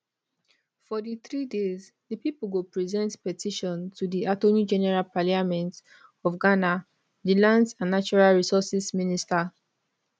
for di three days di pipo go present petition to di attorney general parliament of ghana di lands and natural resources minister